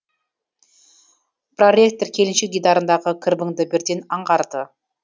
проректор келіншек дидарындағы кірбіңді бірден аңғарды